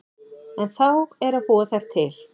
En þá er að búa þær til.